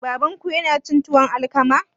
Babanku yana cin tuwon alkama?